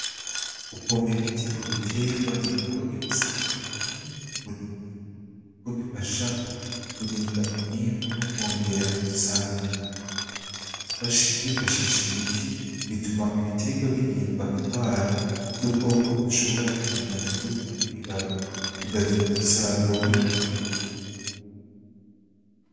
Gupompa imiti kubitegwa n'igikorwa gifise akamaro kanini ku burimyi kuko gifasha kurinda umwimbu nokongera umusaruro kwifashisha imiti bituma ibitegwa birindwa ingwara n'udukoko dushobora kwonona imbuto n'ibibabi bigatuma umusaruro wiyongera.